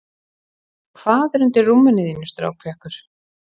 hvað er undir rúminu þínu strákpjakkur